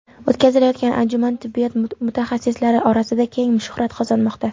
O‘tkazilayotgan anjuman tibbiyot mutaxassislari orasida keng shuhrat qozonmoqda.